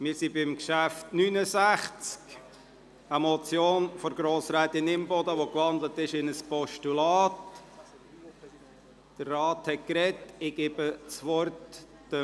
Wir sind beim Traktandum 69 verblieben, einer Motion von Grossrätin Imboden, die in ein Postulat gewandelt wurde.